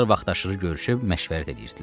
Dostlar vaxtaşırı görüşüb məşvərət eləyirdilər.